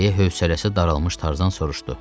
Deyə hövsələsi daralmış Tarzan soruşdu.